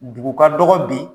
Dugu ka dɔgɔ bi